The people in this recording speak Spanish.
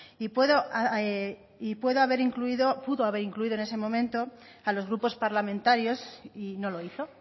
y pudo haber incluido en ese momento a los grupos parlamentarios y no lo hizo